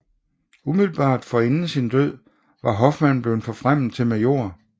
Umiddelbart forinden sin død var Hoffmann blevet forfremmet til major